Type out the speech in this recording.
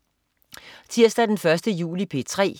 Tirsdag den 1. juli - P3: